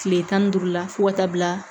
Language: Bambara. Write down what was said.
Kile tan ni duuru la fo ka taa bila